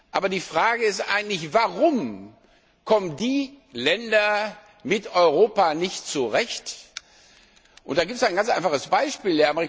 Aber die Frage ist eigentlich Warum kommen die Länder mit Europa nicht zurecht? Da gibt es ein ganz einfaches Beispiel.